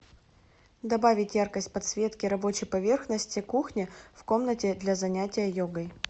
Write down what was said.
добавить яркость подсветки рабочей поверхности кухни в комнате для занятия йогой